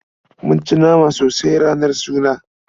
Mun ci nama sosai ranar suna.